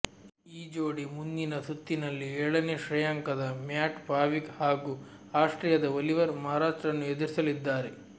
ಈ ಜೋಡಿ ಮುಂದಿನ ಸುತ್ತಿನಲ್ಲಿ ಏಳನೇ ಶ್ರೇಯಾಂಕದ ಮ್ಯಾಟ್ ಪಾವಿಕ್ ಹಾಗೂ ಆಸ್ಟ್ರೀಯದ ಒಲಿವೆರ್ ಮರಾಚ್ರನ್ನು ಎದುರಿಸಲಿದ್ದಾರೆ